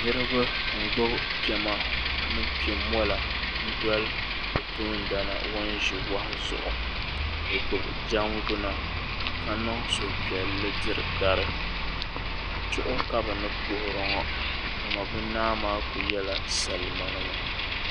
Niriba n gbubi piɛma ni piɛn mɔla n doli bi toondana ŋun ʒi wahu zuɣu bi gbubi jɛngbuna ka niŋ suhupiɛlli diri dari chuɣu ka bi ni puhiri ŋɔ dama bi naa maa ku yɛla salima nima.